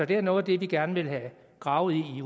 det er noget af det vi gerne vil have gravet i